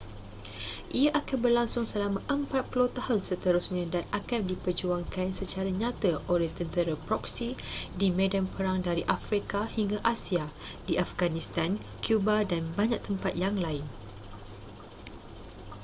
ia akan berlangsung selama 40 tahun seterusnya dan akan diperjuangkan secara nyata oleh tentera proksi di medan perang dari afrika hingga asia di afghanistan cuba dan banyak tempat yang lain